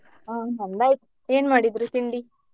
ಹಾ ನಮ್ದು ಆಯ್ತು ಏನ್ ಮಾಡಿದ್ರಿ ತಿಂಡಿ?